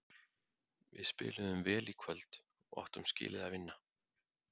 Við spiluðum vel í kvöld og áttum skilið að vinna.